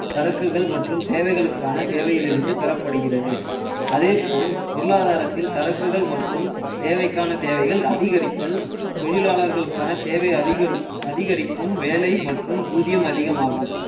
சரக்குகள் மற்றும் சேவைகளுக்கான தேவையிலிருந்து பெறப்படுகிறது அதே போல் பொருளாதாரத்தில் சரக்குகள் மற்றும் தேவைக்கான தேவைகள் அதிகரித்தல் தொழிலாளர்களுக்கான தேவை அதிகரிப்பு~ அதிகரிக்கும் வேலை மற்றும் ஊதியம் அதிகமாகும்